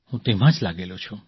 હું તેમાં જ લાગેલો છું